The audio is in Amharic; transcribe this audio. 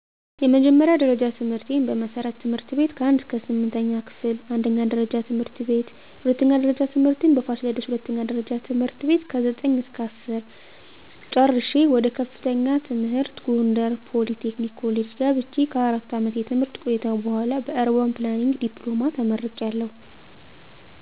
የመጀመርያ ደረጃ ትምህርቴን በመሠረትት/ቤት ከ1-8 ክፍል አንደኛ ደረጃ ት/ቤት የሁለተኛ ደረጃ ትምህርቴን በፋሲለደስ ሁለተኛ ደረጃ ት/ከ9-10 ቤት ጨረሸ ወደ ከፍተኛ ትምህር ጎንደር ፖሊ ቴክኒክ ኮሌጅ ገብቸ ከ4 አመት የትምህርት ቆይታ በኋላ በኧርባን ፕላንኒንግ ዲፕሎማ ተመርቂያለሁ